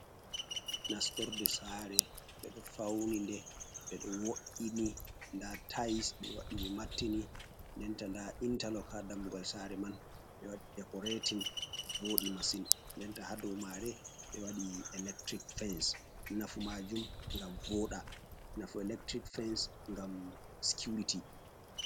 Nastorde saare. Ɓe ɗo fauni nde, ɓe ɗo wo’ini. Nda tais ɓe waɗi ɓe mattini, denta nda intallog haa dammugal saare man. Ɓe waɗi dekoretin voodi masin, ndenta haa dow maare ɓe waɗi electric fens. Nafu maajum ngam vooɗa nafu electric fens ngam sikiwrity.